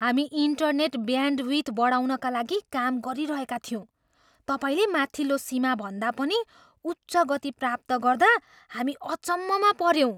हामी internet bandwidth बढाउनका लागि काम गरिरहेका थियौँ। तपाईँले माथिल्लो सीमाभन्दा पनि उच्च गति प्राप्त गर्दा हामी अचम्ममा पऱ्यौँ।